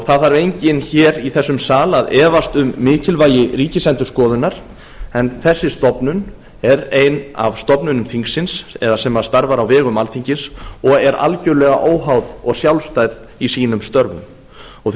það þarf enginn hér í þessum sal að efast um mikilvægi ríkisendurskoðunar en þessi stofnun er ein af stofnunum þingsins eða sem starfar á vegum alþingis og er algjörlega óháð og sjálfstæð í sínum störfum því